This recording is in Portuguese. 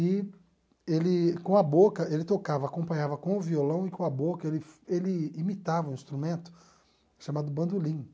E, ele com a boca, ele tocava, acompanhava com o violão e, com a boca, ele ele imitava um instrumento chamado bandolim.